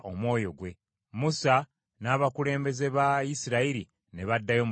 Musa n’abakulembeze ba Isirayiri ne baddayo mu lusiisira.